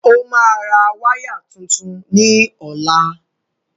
Ó máa ra wáyà tuntun ní ọ̀la.